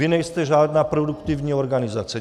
Vy nejste žádná produktivní organizace.